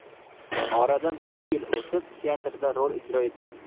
Oradan bir yil o‘tib teatrda rol ijro etgan.